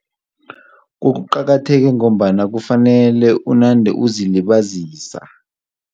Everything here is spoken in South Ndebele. Kuqakatheke ngombana kufanele unande uzilibazisa.